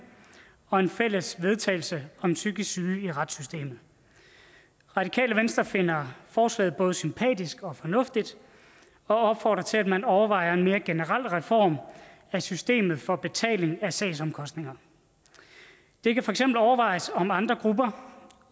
og et fælles forslag vedtagelse om psykisk syge i retssystemet radikale venstre finder forslaget både sympatisk og fornuftigt og opfordrer til at man overvejer en mere generel reform af systemet for betaling af sagsomkostninger det kan overvejes om andre grupper